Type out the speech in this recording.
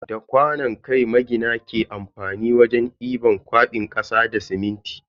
Da kwanon kai magina ke amfani wajen diban kwabin kasa da siminti.